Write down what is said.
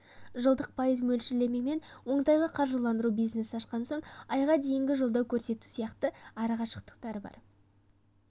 жылдық пайыз мөлшерлемемен оңтайлы қаржыландыру бизнес ашқан соң айға дейінгі қолдау көрсету сияқты артықшылықтары бар